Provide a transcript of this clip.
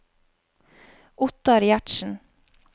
Ottar Gjertsen